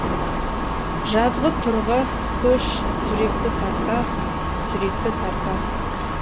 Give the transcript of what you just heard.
жазғытұрғы көш жүректі тартасың жүректі тартасың